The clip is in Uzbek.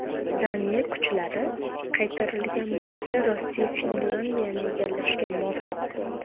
Daniya kuchlari qaytarilgan bo‘lsa, Rossiya Finlandiyani egallashga muvaffaq bo‘ldi.